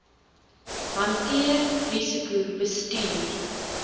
hanteer risiko bestuur